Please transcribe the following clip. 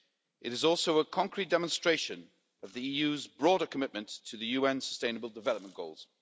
It is also a concrete demonstration of the EU's broader commitment to the UN Sustainable Development Goals.